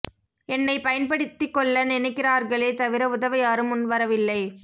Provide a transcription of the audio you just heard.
என்னை பயன்படுத்திக் கொள்ள நினைக்கிறார்களே தவிர உதவ யாரும் முன் வரவில்லை